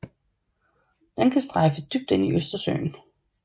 Den kan strejfe dybt ind i Østersøen